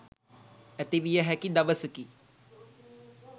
ඇතිවිය හැකි දවසකි.